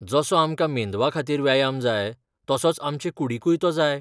जसो आमकां मेंदवाखातीर व्यायाम जाय तसोच आमचे कूडींकूय तो जाय.